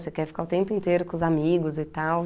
Você quer ficar o tempo inteiro com os amigos e tal.